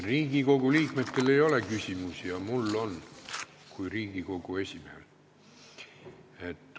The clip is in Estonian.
Riigikogu liikmetel ei ole küsimusi, aga mul kui Riigikogu esimehel on.